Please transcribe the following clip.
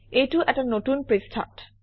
এইটো এটা নতুন পৃষ্ঠাত